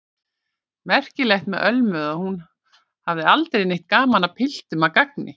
Merkilegt með Ölmu að hún hafði aldrei neitt gaman af piltum að gagni.